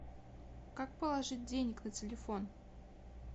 как положить денег на телефон